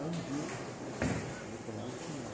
Aí um dia, eu, deu coragem e fui lá.